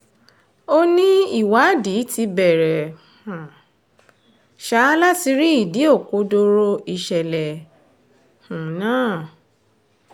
ó ní ìwádìí ti bẹ̀rẹ̀ um sá láti rí ìdí òkodoro ìṣẹ̀lẹ̀ um náà